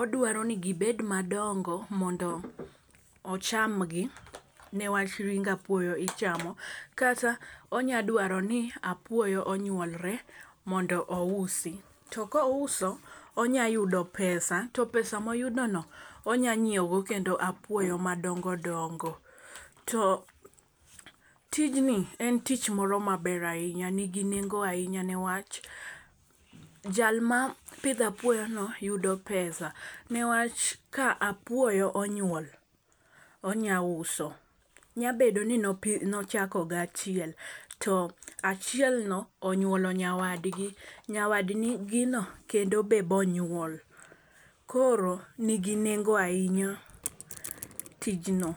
odwaro ni gibed madongo mondo ocham gi newach ring apuoyo ichamo kata, onya dwaro ni apuoyo onyuolre mondo ousi. To kouso onya yudo pesa to pesa moyudo no onya nyiewo go kendo apuoyo madongo dongo. To tijni en tich moro maber ahinya nigi nengo ahinya niwach jal mapidho apuoyo no yudo pesa niwach ka apuoyo onyuol onya uso . Nya bedo ni nochako gi achiel to achiel no onyuolo nyawadgi nyawadj gino kendo be bonyuol koro nigi nengo ahinya tijno.